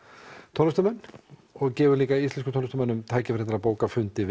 tónlistarmenn og gefum líka íslenskum tónlistarmönnum tækifæri til að bóka fundi